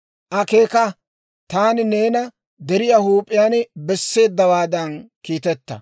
Akeeka; taani neena deriyaa huup'iyaan besseeddawaadan kiiteta.